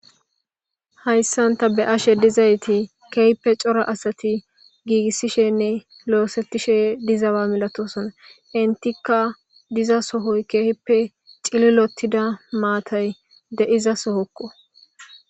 hayssan ta be'ashe dizayti keehpe cora asati giigissishenne loosettishe dizawa milatosona intikka diza sohoy keehippe cililottida maatay de'izasohokko